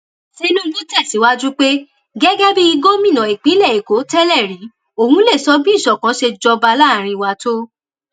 tinubu tẹsíwájú pé gẹgẹ bíi gómìnà ìpínlẹ èkó tẹlẹrí òun lè sọ bí ìṣọkan ṣe jọba láàrin wa tó